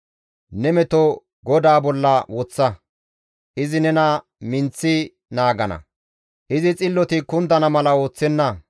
Ne meto GODAA bolla woththa; izi nena minththi naagana; izi xilloti kundana mala ooththenna.